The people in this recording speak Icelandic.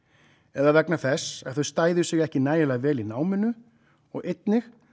eða vegna þess að þau stæðu sig ekki nægilega vel í náminu og einnig